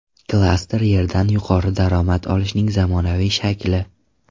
Klaster – yerdan yuqori daromad olishning zamonaviy shakli.